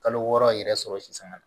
Kalo wɔɔrɔ yɛrɛ sɔrɔ sisanga